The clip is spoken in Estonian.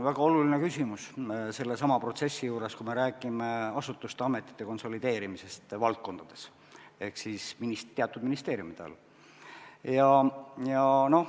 Väga oluline küsimus sellesama protsessi juures, kui me räägime asutuste ja ametite konsolideerimisest valdkondades ehk teatud ministeeriumide all.